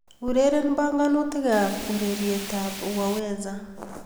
Ureren banganutikab ureretab 'waweza'